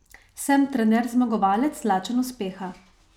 Sem trener zmagovalec, lačen uspeha.